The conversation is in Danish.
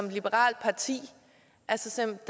et liberalt parti simpelt